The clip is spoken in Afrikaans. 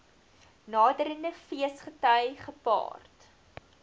naderende feesgety gepaard